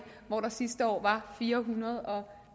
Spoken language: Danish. hvor der sidste år var fire hundrede og